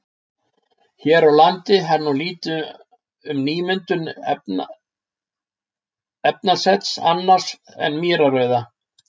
Hér á landi er nú lítið um nýmyndun efnasets annars en mýrarauða.